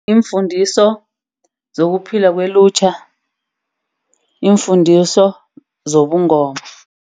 Iimfundiso zokuphila kwelutjha. Iimfundiso zobungoma.